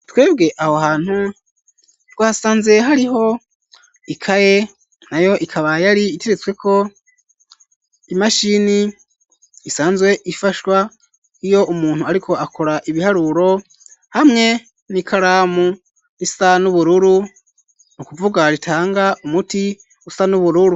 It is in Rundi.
Twebwe aho hantu twasanze hariho ikaye nayo ikaba yari iteretsweko imashini isanzwe ifashwa iyo umuntu ariko akora ibiharuro hamwe n'ikaramu isa n'ubururu nu kuvuga ritanga umuti usa n'ubururu.